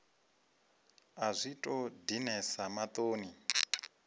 a zwi tou dinesa maṱoni